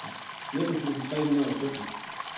nitten tusind tre hundrede og sytten